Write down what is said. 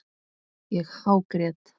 Ég hágrét.